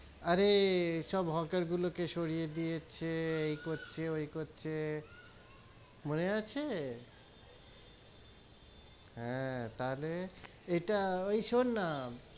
আরে এই সব হোটেল গুলো কে সরিয়ে দিয়েছে, এই করছে ওই করছে, মনে আছে, হেঁ তাহলে ইটা ওই শুন না,